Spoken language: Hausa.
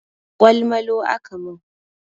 Ƙwal malu aka mun